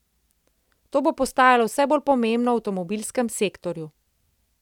To bo postajalo vse bolj pomembno v avtomobilskem sektorju.